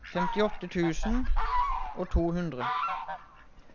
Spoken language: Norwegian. femtiåtte tusen og to hundre